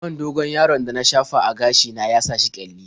Man dogon-yaron da na shafa a gashi na ya sa shi ƙyalli.